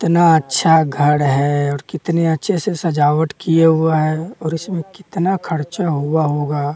इतना अच्छा घर है और कितने अच्छे से सजावट किए हुआ है और इसमें कितना खर्चा हुआ होगा--